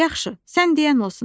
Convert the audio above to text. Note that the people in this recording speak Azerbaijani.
Yaxşı, sən deyən olsun.